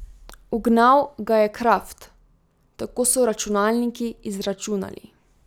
Ugnal ga je Kraft: 'Tako so računalniki izračunali.